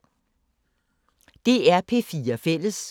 DR P4 Fælles